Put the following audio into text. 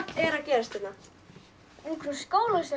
er að gerast hérna ungfrú skólastjóri